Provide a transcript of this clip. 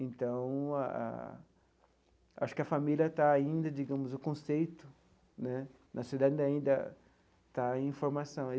Então ah, acho que a família está ainda, digamos, o conceito né na sociedade ainda está em formação.